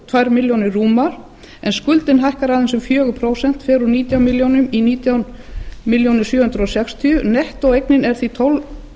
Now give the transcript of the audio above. tvær milljónir rúmar en skuldin hækkar aðeins um fjögur prósent fer úr nítján milljónum í nítján milljónum sjö hundruð sextíu nettóeignin er því tólf